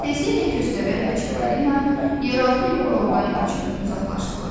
Tezliklə Köstəbəy və Çipalina yeraltı yolla ordan qaçıb uzaqlaşdılar.